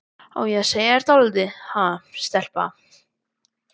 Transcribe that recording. Á ég að segja þér dálítið, ha, stelpa?